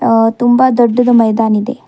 ಆ ತುಂಬ ದೊಡ್ಡದು ಮೈದಾನ್ ಇದೆ.